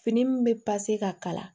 Fini min bɛ ka kala